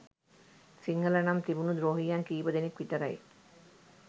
සිංහල නම් තිබුනු ද්‍රෝහියන් කීපදෙනෙක් විතරයි